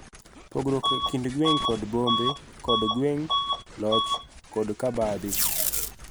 Pogruok e kind gwenge kod bombe kod gwenge, loch, kod cabadhi.